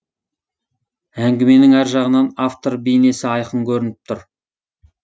әңгіменің әр жағынан автор бейнесі айқын көрініп тұр